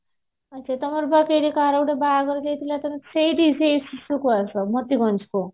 ତମର କାହାର ଗୋଟେ ବାହାଘର ଯାଇଥିଲ ତମେ ସେଇଠି ସେଇ କୁ ଆସ ମୋତିଗଞ୍ଜ କୁ